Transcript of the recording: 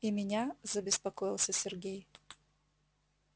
и меня забеспокоился сергей